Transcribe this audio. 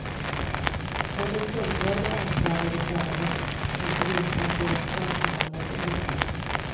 Både kunder och anklagade förare måste veta att deras sak behandlas objektivt.